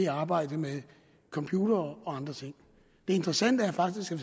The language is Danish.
arbejdet med computere og andre ting det interessante er faktisk at